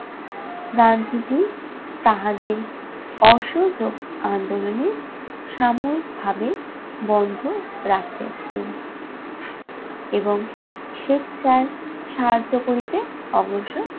গান্ধীজী তাহাদের অসহযোগ আন্দোলনে সাময়িকভাবে বন্ধ রাখিয়া ছিলেন। এবং স্বেচ্ছায় সাহায্য করিতে অগ্রসর